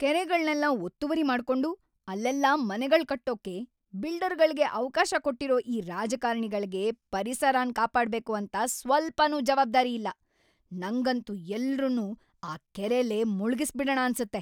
ಕೆರೆಗಳ್ನೆಲ್ಲ ಒತ್ತುವರಿ ಮಾಡ್ಕೊಂಡು ಅಲ್ಲೆಲ್ಲ ಮನೆಗಳ್ ಕಟ್ಟೋಕೆ ಬಿಲ್ಡರ್‌ಗಳ್ಗೆ ಅವ್ಕಾಶ ಕೊಟ್ಟಿರೋ ಈ ರಾಜಕಾರಣೆಗಳ್ಗೆ ಪರಿಸರನ್‌ ಕಾಪಾಡ್ಬೇಕು ಅಂತ ಸ್ವಲ್ಪನೂ ಜವಾಬ್ದಾರಿ ಇಲ್ಲ, ನಂಗಂತೂ ಎಲ್ರುನ್ನೂ ಆ ಕೆರೆಲೇ ಮುಳ್ಗಿಸ್ಬಿಡಣ ಅನ್ಸತ್ತೆ.